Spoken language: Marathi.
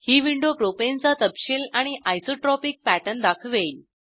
ही विंडो प्रोपेनचा तपशील आणि आयसोट्रॉपिक पॅटर्न दाखवेल